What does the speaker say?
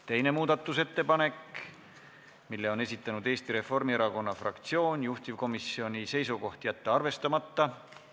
Teine muudatusettepanek, mille on esitanud Eesti Reformierakonna fraktsioon, juhtivkomisjoni seisukoht: jätta arvestamata.